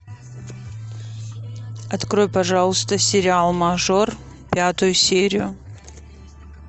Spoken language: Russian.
открой пожалуйста сериал мажор пятую серию